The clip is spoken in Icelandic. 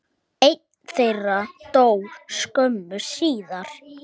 Einn þeirra dó skömmu síðar.